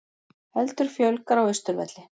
Heldur fjölgar á Austurvelli